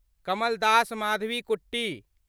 Kamal Das Madhavikutty